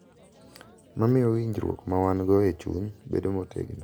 Ma miyo winjruok ma wan-go e chuny bedo motegno.